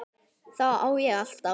Þá á ég alltaf.